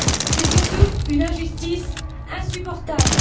C'est surtout une injustice insupportable.